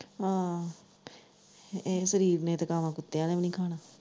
ਅਹ ਇਹ ਕੁੱਤਿਆ ਨੇ ਵੀ ਨੀ ਖਾਣਾ।